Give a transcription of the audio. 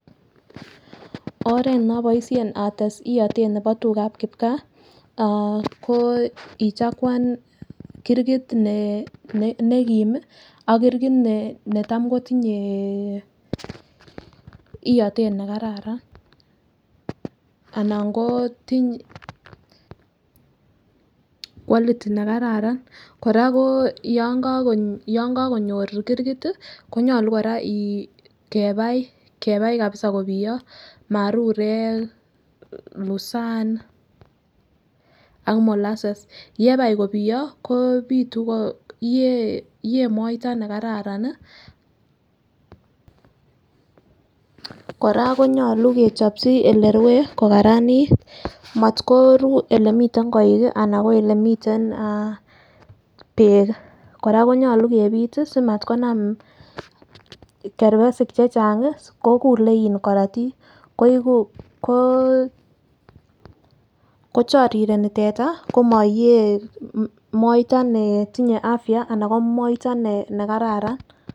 Oret noboishenl ates iyotet nebo tukab kipkaa ko ichakwan kirgit ne nekim ak kirgit netam kotinye iyotet nekararan anan ko tinye quality nekararan. Koraa ko yon kokonyor kirgit tii konyolu koraa kebai kebai kabisa kobiyo marurek, lusan ak molasses. Yeka kobiyo kopitu ko iyee iyee moita nekararan nii Koraa konyolu kechopchi olerue ko karanit motko ruu olemiten koik kii anan ko olemiten ah beek Koraa konyolu kepite somat konam kerpesik chechangi kokile korotik koiku kochorireni teta komo iyee moita netinye afya anan ko moita nekararan.